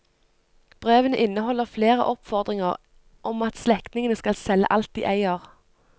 Brevene inneholder flere oppfordringer om at slektningene skal selge alt de eier.